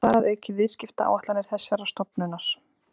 Og þar að auki viðskiptaáætlanir þessarar stofnunar.